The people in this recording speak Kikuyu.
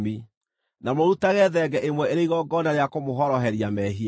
Na mũrutage thenge ĩmwe ĩrĩ igongona rĩa kũmũhoroheria mehia.